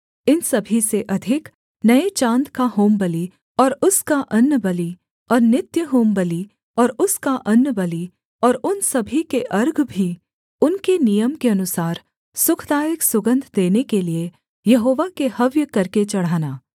इन सभी से अधिक नये चाँद का होमबलि और उसका अन्नबलि और नित्य होमबलि और उसका अन्नबलि और उन सभी के अर्घ भी उनके नियम के अनुसार सुखदायक सुगन्ध देने के लिये यहोवा के हव्य करके चढ़ाना